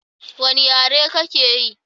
Wani yare ka ke yi?